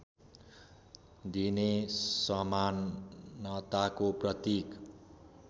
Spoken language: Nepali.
दिने समानताको प्रतीक